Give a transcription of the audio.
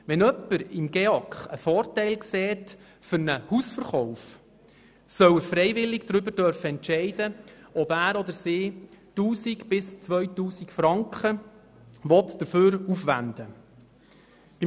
Wenn jemand für einen Hausverkauf einen Vorteil im GEAK sieht, soll er freiwillig darüber entscheiden können, ob er oder sie 1000 bis 2000 Franken dafür aufwenden will.